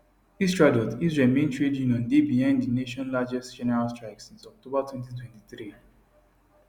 histadrut israel main trade union dey behind di nation largest general strike since october 2023